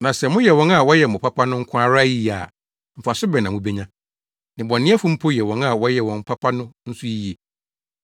Na sɛ moyɛ wɔn a wɔyɛ mo papa no nko ara yiye a, mfaso bɛn na mubenya? Nnebɔneyɛfo mpo yɛ wɔn a wɔyɛ wɔn papa no nso yiye.